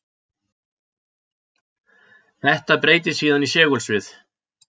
Þetta breytist síðan í segulsviði.